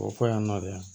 O fɔ yan nɔ dɛ